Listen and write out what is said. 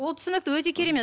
ол түсінікті өте керемет